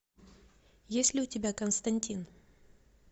есть ли у тебя константин